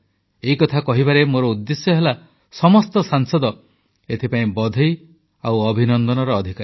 ଏକଥା କହିବାରେ ମୋର ଉଦ୍ଦେଶ୍ୟ ହେଲା ସମସ୍ତ ସାଂସଦ ଏଥିପାଇଁ ବଧେଇ ଓ ଅଭିନନ୍ଦନର ଅଧିକାରୀ